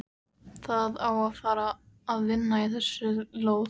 Það á að fara að vinna í þessari lóð.